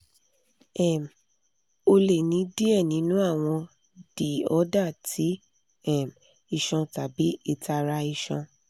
um o le ni diẹ ninu awọn diorder ti um iṣan tabi itara iṣan